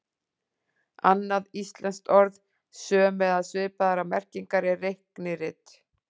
Annað íslenskt orð sömu eða svipaðrar merkingar er reiknirit.